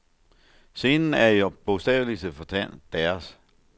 Scenen er i bogstavelig forstand deres.